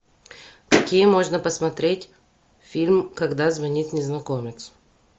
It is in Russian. какие можно посмотреть фильм когда звонит незнакомец